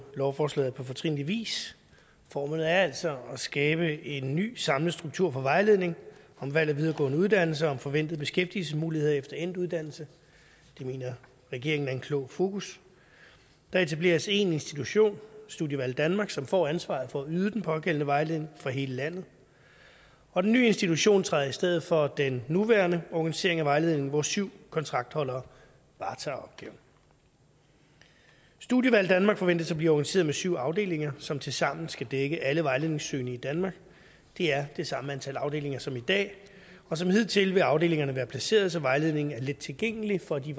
lovforslaget på fortrinlig vis formålet er altså at skabe en ny samlet struktur for vejledning om valg af videregående uddannelse og om forventede beskæftigelsesmuligheder efter endt uddannelse det mener regeringen er et klogt fokus der etableres én institution studievalg danmark som får ansvaret for at yde den pågældende vejledning for hele landet og den nye institution træder i stedet for den nuværende organisering af vejledning hvor syv kontraktholdere varetager opgaven studievalg danmark forventes at blive organiseret med syv afdelinger som tilsammen skal dække alle vejledningssøgende i danmark det er det samme antal afdelinger som i dag og som hidtil vil afdelingerne være placeret så vejledningen er lettilgængelig for de